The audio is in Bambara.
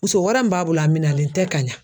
Muso wɛrɛ min b'a bolo a minalen tɛ ka ɲa.